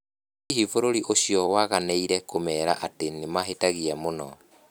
Hihi bũrũri ũcio nĩ waganĩire kũmeera atĩ nĩ mahĩtagia mũno?